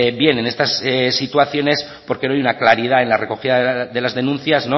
bien en estas situaciones porque no hay una claridad en la recogida de las denuncias